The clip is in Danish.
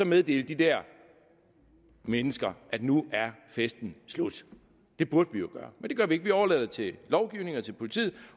meddele de der mennesker nu er festen slut det burde vi jo gøre men det gør vi ikke vi overlader det til lovgivningen og til politiet